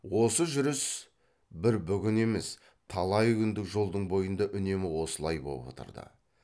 осы жүріс бір бүгін емес талай күндік жолдың бойында үнемі осылай боп отырды